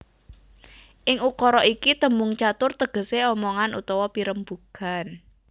Ing ukara iki tembung catur tegesé omongan utawa pirembugan